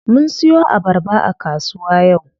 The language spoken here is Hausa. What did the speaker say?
Mun siyo abarba a kasuwa yau.